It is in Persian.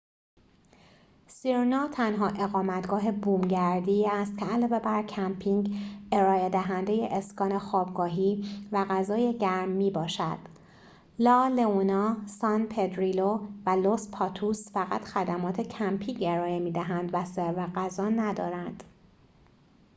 سیرنا تنها اقامتگاه بومگردی است که علاوه بر کمپینگ ارائه‌دهنده اسکان خوابگاهی و غذای گرم می‌باشد لا لئونا سان پدریلو و لس پاتوس فقط خدمات کمپینگ ارائه می‌دهند و سرو غذا ندارند